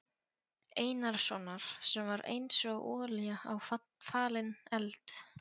Einarssonar sem var einsog olía á falinn eld.